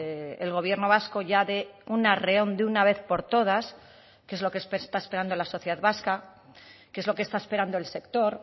el gobierno vasco ya de un arreón de una vez por todas que es lo que está esperando la sociedad vasca que es lo que está esperando el sector